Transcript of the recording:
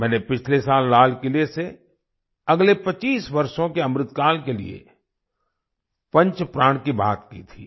मैंने पिछले साल लाल किले से अगले 25 वर्षों के अमृतकाल के लिए पंच प्राण की बात की थी